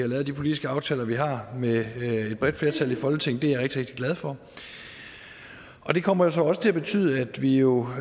lavet de politiske aftaler vi har med et bredt flertal i folketinget det er jeg rigtig glad for og det kommer så også til at betyde at vi jo